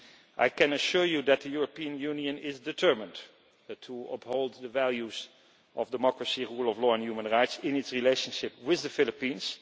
I can assure you that the European Union is determined to uphold the values of democracy, rule of law and human rights in its relationship with the Philippines.